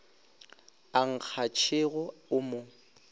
a nkga tšhego o mo